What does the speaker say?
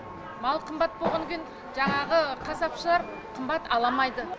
мал қымбат болғаннан кейін жаңағы қасапшылар қымбат аламайды